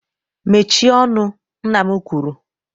Mechie ọnụ nna m kwuru.